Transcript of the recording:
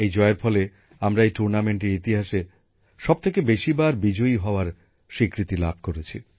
এই জয়ের ফলে আমরা এই টুর্নামেন্টের ইতিহাসে সবথেকে বেশি বার বিজয়ী হওয়ার স্বীকৃতি লাভ করেছি